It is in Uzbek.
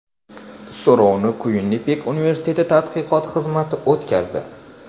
So‘rovni Kuinnipek universiteti tadqiqot xizmati o‘tkazdi.